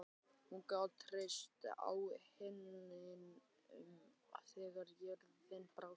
Hún gat treyst á himininn þegar jörðin brást.